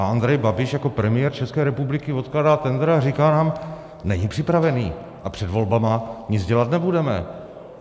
A Andrej Babiš jako premiér České republiky odkládá tendr a říká nám - není připravený a před volbama nic dělat nebudeme.